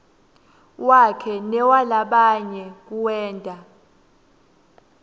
wakhe newalabanye kuwenta